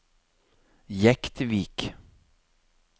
Jektvik